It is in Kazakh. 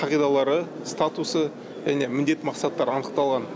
қағидалары статусы және міндет мақсаттары анықталған